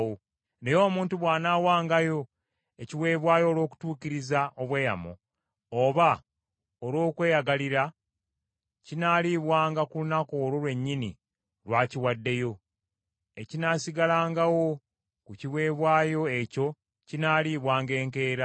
“ ‘Naye omuntu bw’anaawangayo ekiweebwayo olw’okutuukiriza obweyamo, oba olw’okweyagalira, kinaaliibwanga ku lunaku olwo lwennyini lw’akiwaddeyo; ekinaasigalangawo ku kiweebwayo ekyo kinaaliibwanga enkeera.